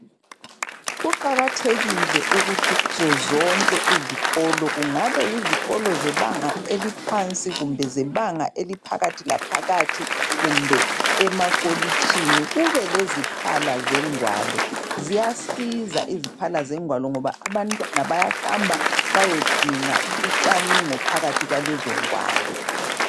kuqakathkile ukuthi kuzo zonke izikolo kungabe yizikolo zebanga eliphansi kumbe zebanga eliphakathi laphakathi kumbe emakolitshini kube leziphla zengwalo ziyasiza iziphala zengwalo ngoba abantwana bayahamba beyodinga ucwaningo phakathi kwalezo ngwalo